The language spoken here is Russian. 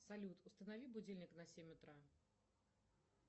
салют установи будильник на семь утра